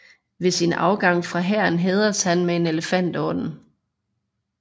Ved sin afgang fra hæren hædredes han med Elefantordenen